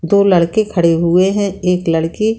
दो लड़के खड़े हुए हैं एक लड़की --